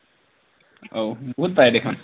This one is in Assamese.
অঔ বহুত পায় দেখোন